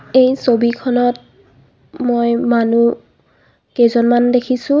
এই ছবিখনত মই মানুহ কেইজনমান দেখিছোঁ।